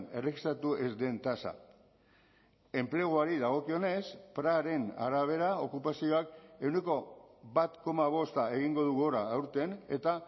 erregistratu ez den tasa enpleguari dagokionez praren arabera okupazioak ehuneko bat koma bosta egingo du gora aurten eta